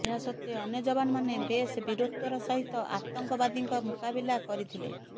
ଏହା ସତ୍ତ୍ୱେ ଅନ୍ୟ ଯବାନମାନେ ବେଶ ବୀରତ୍ୱର ସହିତ ଆତଙ୍କବାଦୀଙ୍କ ମୁକାବିଲା କରିଥିଲେ